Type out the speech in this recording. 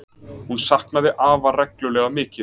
Hún saknaði afa reglulega mikið.